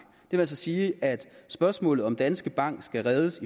det vil altså sige at spørgsmålet om om danske bank skal reddes